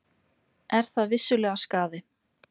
Er það vissulega skaði.